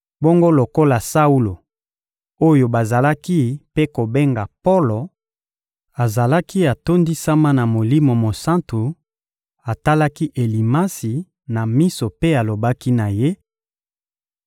Bongo lokola Saulo, oyo bazalaki mpe kobenga «Polo,» azalaki atondisama na Molimo Mosantu, atalaki Elimasi na miso mpe alobaki na ye: